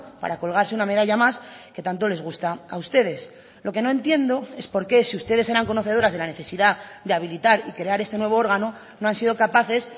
para colgarse una medalla más que tanto les gusta a ustedes lo que no entiendo es por qué si ustedes eran conocedoras de la necesidad de habilitar y crear este nuevo órgano no han sido capaces